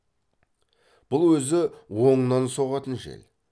бұл өзі оңынан соғатын жел